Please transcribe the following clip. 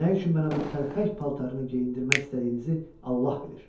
Nə üçün mənə bu təlxək paltarını geyindirmək istədiyinizi Allah bilir.